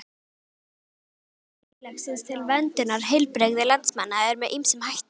Framlag samfélagsins til verndunar heilbrigði landsmanna er með ýmsum hætti.